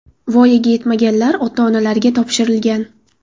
Voyaga yetmaganlar ota-onalariga topshirilgan.